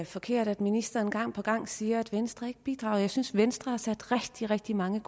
forkert at ministeren gang på gang siger at venstre ikke bidrager jeg synes at venstre har sat rigtig rigtig mange